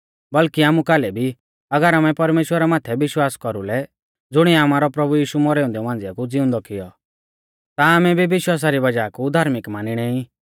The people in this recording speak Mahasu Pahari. बल्कि आमु कालै भी अगर आमै परमेश्‍वरा माथै विश्वास कौरुलै ज़ुणिऐ आमारौ प्रभु यीशु मौरै औन्दै मांझिया कु ज़िउंदौ किऔ ता आमै भी विश्वासा री वज़ाह कु धार्मिक मानिणै ई